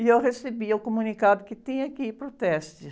E eu recebia o comunicado que tinha que ir para o teste.